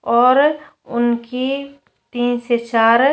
और उनकी तीन से चार --